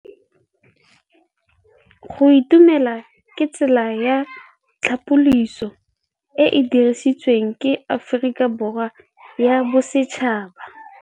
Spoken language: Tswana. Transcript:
Go itumela ke tsela ya tlhapolisô e e dirisitsweng ke Aforika Borwa ya Bosetšhaba.